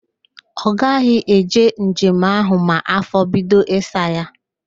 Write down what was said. Ọ gaghị eje njem ahụ ma afọ bido ịsa ya